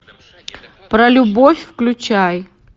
про любовь включай